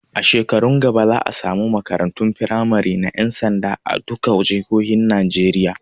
A shekarun gaba za a samu makarantun firamari na ƴan sanda a duka jihohin Najeriya